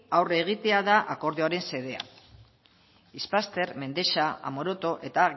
aurre egitea da akordioaren xedea ispaster mendexa amoroto eta